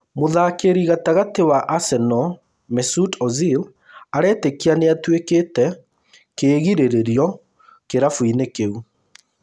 Mũthakĩri gatagatĩ wa Arsenal Mesut Ozil aretĩkia nĩatuĩkĩte kĩĩgirĩrio kĩrabu inĩ kĩu